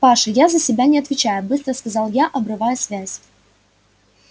паша я за себя не отвечаю быстро сказал я обрывая связь